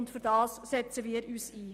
Dafür setzen wir uns ein.